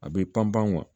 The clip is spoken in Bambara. A bɛ pan pan